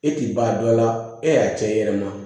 E ti ban dɔ la e y'a cɛ i yɛrɛ ma